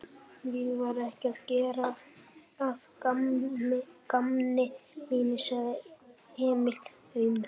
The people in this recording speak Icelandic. Ég var ekki að gera að gamni mínu, sagði Emil aumur.